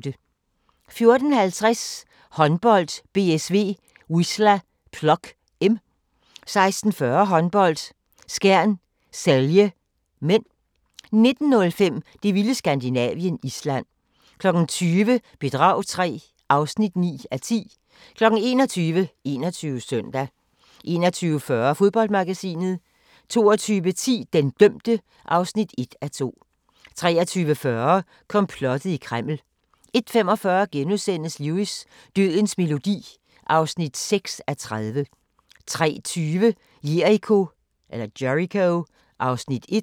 14:50: Håndbold: BSV-Wisla Plock (m) 16:40: Håndbold: Skjern-Celje (m) 19:05: Det vilde Skandinavien – Island 20:00: Bedrag III (9:10) 21:00: 21 Søndag 21:40: Fodboldmagasinet 22:10: Den dømte (1:2) 23:40: Komplottet i Kreml 01:45: Lewis: Dødens melodi (6:30)* 03:20: Jericho (Afs. 1)